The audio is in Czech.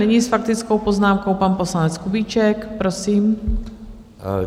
Nyní s faktickou poznámkou pan poslanec Kubíček, prosím.